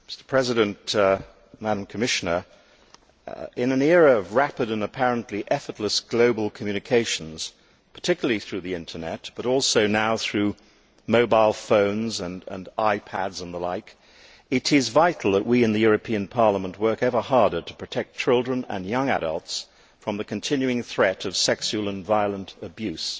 Mr President, in an era of rapid and apparently effortless global communications, particularly through the Internet but also now through mobile phones and iPads and the like, it is vital that we in the European Parliament work ever harder to protect children and young adults from the continuing threat of sexual and violent abuse.